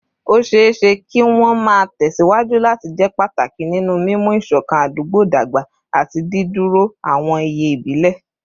Ó ṣeé ṣe kí wọ́n máa tẹ̀ síwájú láti jẹ́ pàtàkì nínú mímú ìṣọ̀kan àdúgbò dàgbà àti dídúró àwọn iye ìbílẹ̀